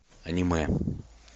аниме